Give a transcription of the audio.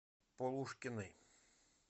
полушкиной